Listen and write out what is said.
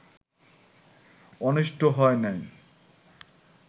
অনিষ্ট হয় নাই